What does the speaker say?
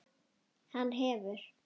Hann hefur.